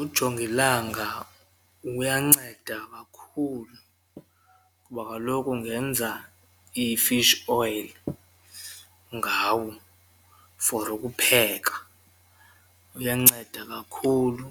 Ujongilanga uyanceda kakhulu kuba kaloku ungenza i-fish oil ngawo for ukupheka, uyanceda kakhulu